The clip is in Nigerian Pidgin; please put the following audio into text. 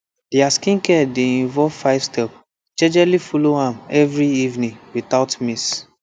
their skincare dey involve five step jejely follow am every evening without miss